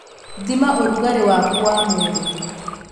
Thima ũrugarĩ waku wa mwĩrĩ